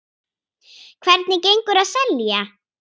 Hvernig gengur að selja?